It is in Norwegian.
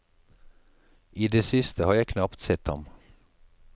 I det siste har jeg knapt sett ham.